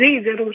जी जरुर